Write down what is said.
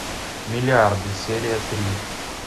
миллиарды серия три